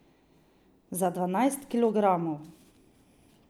Za dvanajst kilogramov.